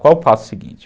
Qual o passo seguinte?